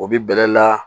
O bi bɛlɛ la